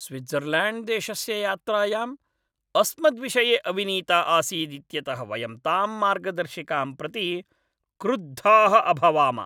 स्विट्ज़र्ल्याण्ड्देशस्य यात्रायाम् अस्मद्विषये अविनीता आसीदित्यतः वयं तां मार्गदर्शिकां प्रति क्रुद्धाः अभवाम।